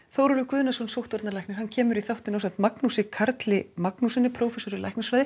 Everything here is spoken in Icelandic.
Þórólfur Guðnason sóttvarnalæknir kemur í þáttinn ásamt Magnúsi Karli Magnússyni prófessor í læknisfræði